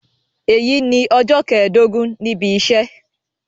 Èyí ni ọjọ́ kẹẹ̀ẹ́dógún níbi iṣẹ́